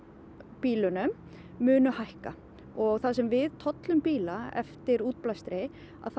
bílunum munu hækka og þar sem við tollum bíla eftir útblæstri